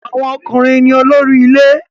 Awon okunrin ni olori ile